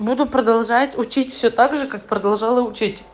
буду продолжать учить все так же как продолжала учить